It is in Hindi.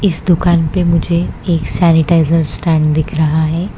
इस दुकान पे मुझे एक सैनिटाइजर स्टैंड दिख रहा है।